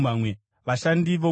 Vashandi vomutemberi: